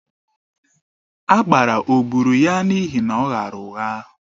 Agbara o gburu ya n'ihi na ọ ghaara ụgha?